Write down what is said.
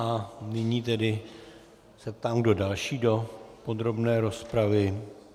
A nyní tedy se ptám, kdo další do podrobné rozpravy.